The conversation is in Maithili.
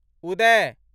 उदय